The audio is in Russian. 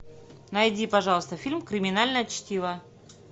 найди пожалуйста фильм криминальное чтиво